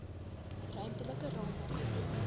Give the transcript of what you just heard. ruimtelike raamwerke beter